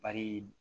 Bari